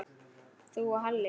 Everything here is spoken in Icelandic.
Þú og Halli?